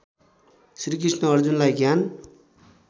श्रीकृष्ण अर्जुनलाई ज्ञान